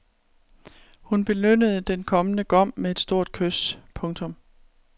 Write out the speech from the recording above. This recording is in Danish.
Hun belønnede den kommende gom med et stort kys. punktum